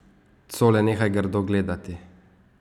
Cole, nehaj grdo gledati!